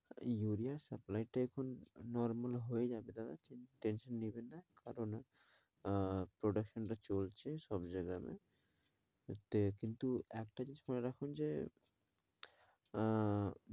ইউরিয়ার supply টা এখন normal হয়ে যাবে দাদা tension নেবেন না কারণ আহ production টা চলছে সব জায়গা কিন্তু একটা জিনিস মনে রাখুন যে আহ